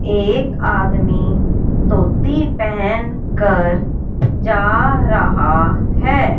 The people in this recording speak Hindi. एक आदमी धोती पहन कर जा रहा है।